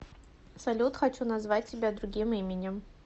салют хочу называть тебя другим именем